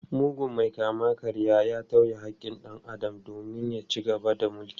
Mugun mai kama-karyan ya tauye haƙƙin dan Adam domin ya ci gaba da mulki.